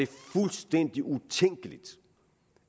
fuldstændig utænkeligt